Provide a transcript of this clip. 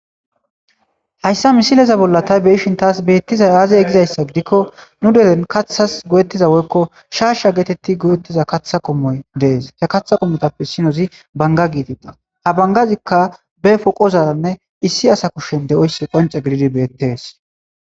Hayssa misileza bolla tay beishin taas beettizay aazey gizayssa gidikko nu delen kathas go7ettiza woykko shaasha geetetti go7ettiza kaththa komoy dees ke katha komotappe sinozi banga giitida ha bangazikka be poqozaranne issi asa kushen de7oyssi qonce gididi beettees.